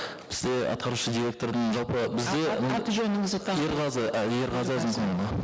бізде атқарушы директордың жалпы бізде аты жөніңізді ерғазы і ерғазы әзімханұлы